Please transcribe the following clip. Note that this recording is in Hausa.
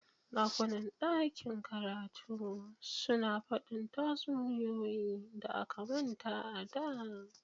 ɗakunan ɗakin karatu suna faɗi tatsuniyoyi da aka manta a da